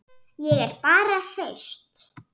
Ég er bara hraust.